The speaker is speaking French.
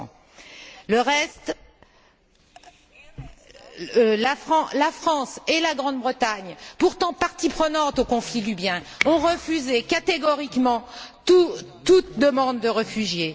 200. Le reste, la France et la Grande Bretagne, pourtant parties prenantes au conflit libyen, ont refusé catégoriquement toute demande de réfugiés.